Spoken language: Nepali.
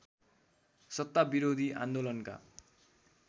सत्ता विरोधी आन्दोलनका